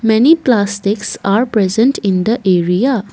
many plastics are present in the area.